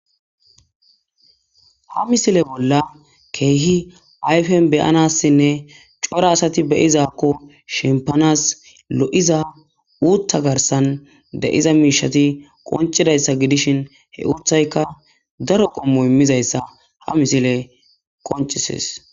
ha misile bolla keehi ayfen beyanassinne cora asati be'izakko shimpanas lo'iza uutta garsan de'iza miishati qoncidayssa gidishin he uuthayka daro qommo immizayssa ha misiley qoncises